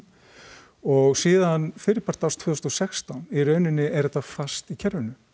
og síðan fyrri part árs tvö þúsund og sextán í rauninni er þetta fast í kerfinu